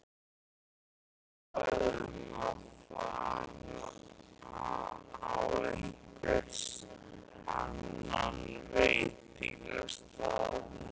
Höfðu þau talað um að fara á einhvern annan veitingastað?